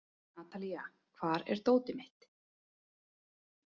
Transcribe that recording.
Natalía, hvar er dótið mitt?